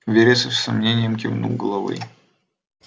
вересов с сомнением кивнул головой